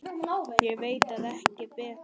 Ég veit ekki betur.